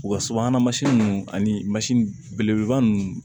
U ka subahana mansin ninnu ani mansin belebeleba ninnu